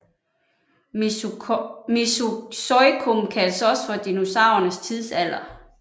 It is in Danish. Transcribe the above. Mesozoikum kaldes også for dinosaurernes tidsalder